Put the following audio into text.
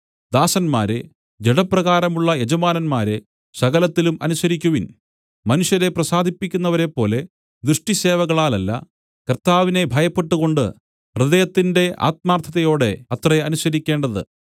ദാസന്മാരേ ജഡപ്രകാരമുള്ള യജമാനന്മാരെ സകലത്തിലും അനുസരിക്കുവിൻ മനുഷ്യരെ പ്രസാദിപ്പിക്കുന്നവരെപ്പോലെ ദൃഷ്ടിസേവകളാലല്ല കർത്താവിനെ ഭയപ്പെട്ടുകൊണ്ട് ഹൃദയത്തിന്റെ ആത്മാർത്ഥതയോടെ അത്രേ അനുസരിക്കേണ്ടത്